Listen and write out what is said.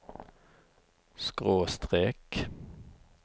skråstrek